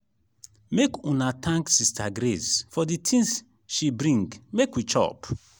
make una thank sister grace for the things she bring make we chop.